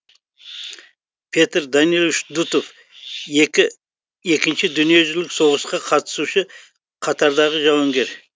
петр данилович дутов екі екінші дүниежүзілік соғысқа қатысушы қатардағы жауынгер